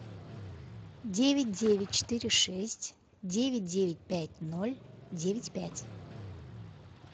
девять девять четыре шесть девять девять пять ноль девять пять